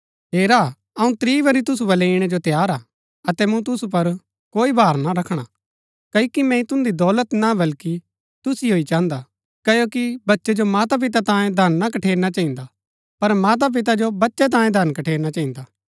हेरा अऊँ त्रीं बरी तुसु बलै ईणै जो तैयार हा अतै मूँ तुसु पुर कोई भार ना रखणा क्ओकि मैंई तुन्दी दौलत ना बल्कि तुसिओ ही चाहन्दा क्ओकि बच्चै जो माँपिता तांयें धन ना कठेरना चहिन्दा पर माँपिता जो बच्चै तांयें कठेरना चहिन्दा